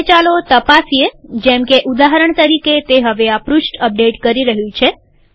હવે ચાલો તપાસીએ જેમકે ઉદાહરણ તરીકે તે હવે આ પૃષ્ઠ અપડેટ કરી રહ્યું છે